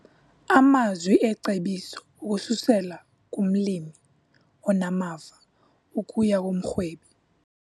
Amazwi ecebiso ukususela kumlimi onamava ukuya kumrhwebi